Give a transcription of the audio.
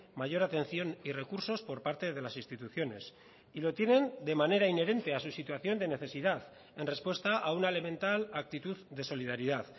mayor atención y recursos por parte de las instituciones y lo tienen de manera inherente a su situación de necesidad en respuesta a una elemental actitud de solidaridad